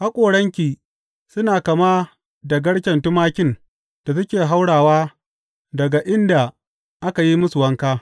Haƙoranki suna kama da garken tumakin da suke haurawa daga inda aka yi musu wanka.